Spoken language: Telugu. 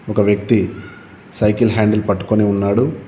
ఒక వ్యక్తి సైకిల్ హ్యాండిల్ పట్టుకొని ఉన్నాడు.